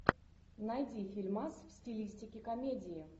найди фильмас в стилистике комедии